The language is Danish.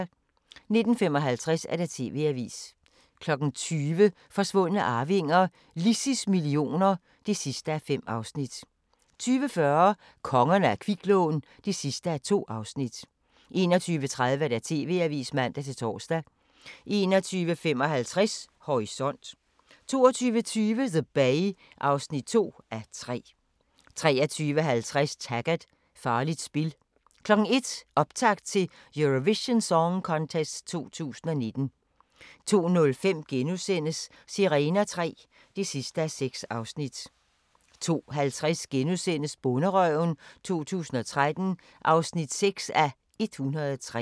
19:55: TV-avisen 20:00: Forsvundne arvinger: Lissies millioner (5:5) 20:40: Kongerne af kviklån (2:2) 21:30: TV-avisen (man-tor) 21:55: Horisont 22:20: The Bay (2:3) 23:50: Taggart: Farligt spil 01:00: Optakt til Eurovision Song Contest 2019 02:05: Sirener III (6:6)* 02:50: Bonderøven 2013 (6:103)*